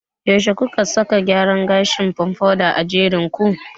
Yaushe kuka saka gyaran gashin "pompadour" a jerin ku?